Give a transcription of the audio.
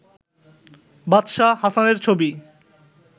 বাদশাহ হাসানের ছবি